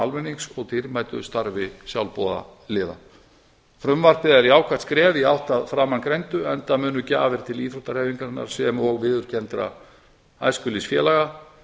almennings og dýrmætu starfi sjálfboðaliða frumvarpið er jákvætt skref í átt að framangreindu enda munu gjafir til íþróttahreyfingarinnar sem og viðurkenndra æskulýðsfélaga